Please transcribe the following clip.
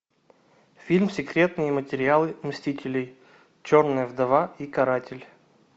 фильм секретные материалы мстителей черная вдова и каратель